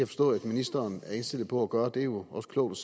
forstå at ministeren er indstillet på at gøre det er jo også klogt